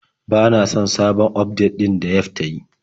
Bana son sabon ufdet ɗin da Yelf ta yi.